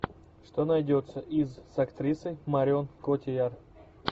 что найдется из с актрисой марион котийяр